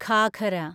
ghagra